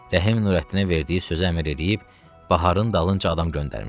Rəhim Nurəddinə verdiyi sözə əmr eləyib Baharın dalınca adam göndərmişdi.